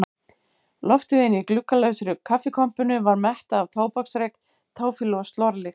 Loftið inni í gluggalausri kaffikompunni var mettað af tóbaksreyk, táfýlu og slorlykt.